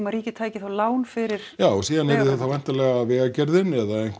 ríkið tæki lán fyrir já síðan yrði það þá væntanlega Vegagerðin eða